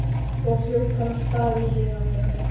Svo hljóp hann af stað í hina áttina.